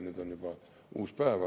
Nüüd on juba uus päev.